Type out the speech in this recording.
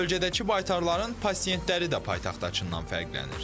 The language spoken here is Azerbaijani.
Bölgədəki baytarların pasientləri də paytaxtdakından fərqlənir.